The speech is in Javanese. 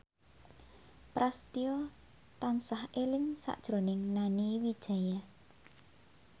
Prasetyo tansah eling sakjroning Nani Wijaya